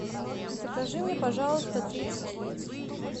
закажи мне пожалуйста тридцать яиц